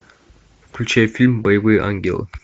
включай фильм боевые ангелы